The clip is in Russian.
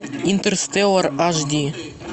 интерстеллар аш ди